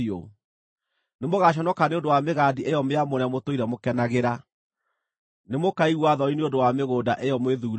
“Nĩmũgaconoka nĩ ũndũ wa mĩgandi ĩyo mĩamũre mũtũire mũkenagĩra; nĩmũkaigua thoni nĩ ũndũ wa mĩgũnda ĩyo mwĩthuurĩire.